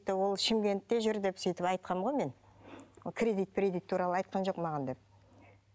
шымкентте жүр деп сөйтіп айтқанмын ғой мен кредит кредит туралы айтқан жоқ маған деп